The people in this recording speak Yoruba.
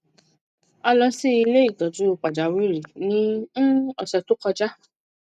a lo si ile itoju pajawiri ni um ose to koja